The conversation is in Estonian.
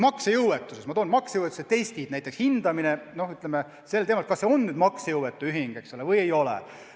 Ma toon veel näiteks maksejõuetuse testid: näiteks hindamine, kas ühing on maksejõuetu või ei ole.